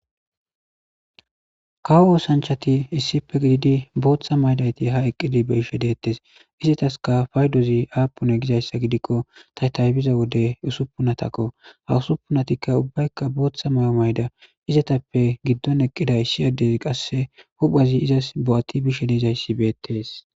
kawo oosanchati issipe giididi booththa maydayti ha eqqidi be ishe deettes izataska faydozi aapune gizayssa gidikko ta taybiza wode usuppunatakko ha usuppunatikka ubbaykka booththa may7o mayda izatappe giddon eqqiday ishi addezi qasse huphazi izas bo7ati bishe deizayssi beettees